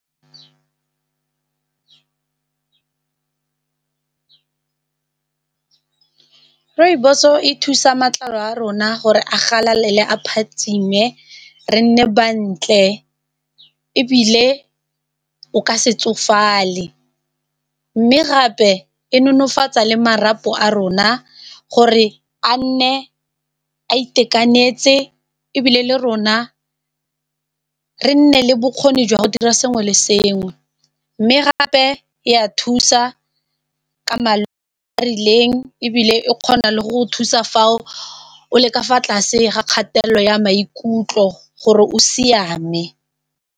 Rooibos-o e thusa matlalo a rona gore a galalele, a phatsime re nne bantle ebile o ka se kgotsofale, mme gape e nonofatsa le marapo a rona gore a nne a itekanetse ebile le rona re nne le bokgoni jwa go dira sengwe le sengwe, mme gape e ya thusa ka a rileng ebile e kgona le go thusa fao o le ka fa tlase ga kgatelelo ya maikutlo gore o siame.